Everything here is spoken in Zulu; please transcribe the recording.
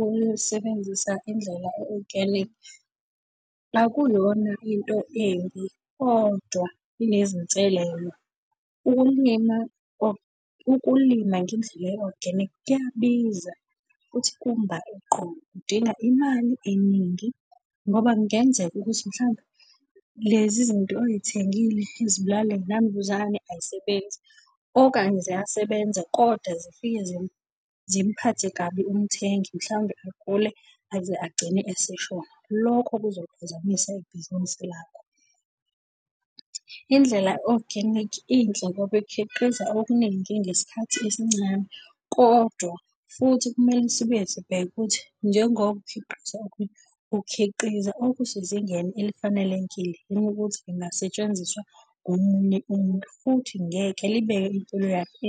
ukuyosebenzisa indlela e-organic, akuyona into embi, kodwa inezinselelo. Ukulima ukulima ngendlela e-organic kuyabiza futhi kumba eqolo kudinga imali eningi. Ngoba kungenzeka ukuthi mhlampe lezi zinto oy'thengile izibulala yinambuzane ay'sebenzi, okanye ziyasebenza kodwa zifike zimuphathe kabi umthengi, mhlawumbe agule aze agcine eseshona. Lokho kuzoliphazamisa ibhizinisi lakho. Indlela organic inhle ngoba ikhiqiza okuningi ngesikhathi esincane. Kodwa futhi kumele sibuye sibheke ukuthi njengoba ukhiqiza, ukhiqiza okusezingeni elifanelekile yini ukuthi lingasetshenziswa ngomunye umuntu, futhi ngeke libeke impilo yakhe .